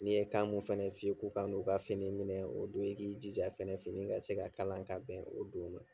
N'i ye kan mun fɛnɛ f'u ye k'u ka na u ka fini minɛ o don i k'i jija fɛnɛ fini ka se ka kalan ka bɛn o don ma.